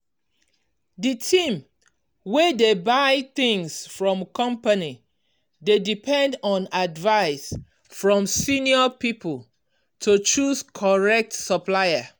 di team wey dey buy things for company dey depend on advice from senior people to choose correct supplier.